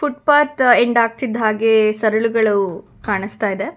ಪಟ್ ಎಂಡ್ ಆಗ್ತಿದ್ದ ಹಾಗೆ ಸರಳುಗಳು ಕಾಣಸ್ತಾಇದೆ.